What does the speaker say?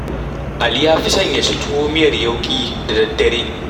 Ali ya fi son ya ci tuwo miyar yauƙi da daddare